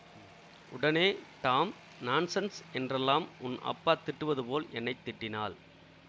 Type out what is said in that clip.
உடனே damn nonsense என்றெல்லாம் உன் அப்பா திட்டுவது போல் என்னை திட்டினாள்